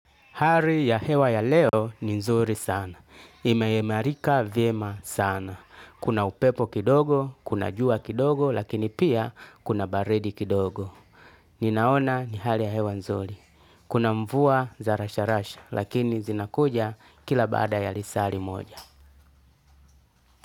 Hari ya hewa ya leo ni nzuri sana. Imeimarika vyema sana. Kuna upepo kidogo, kuna jua kidogo, lakini pia kuna baridi kidogo. Ninaona ni hali ya hewa nzuri. Kuna mvua za rasharasha, lakini zinakuja kila baada ya lisari moja.